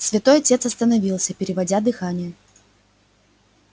святой отец остановился переводя дыхание